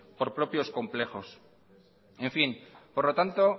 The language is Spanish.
por propios complejos en fin por lo tanto